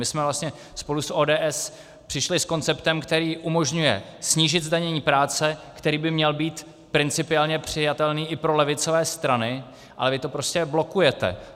My jsme vlastně spolu s ODS přišli s konceptem, který umožňuje snížit zdanění práce, který by měl být principiálně přijatelný i pro levicové strany, ale vy to prostě blokujete.